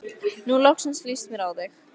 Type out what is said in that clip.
Nú loksins líst mér á þig.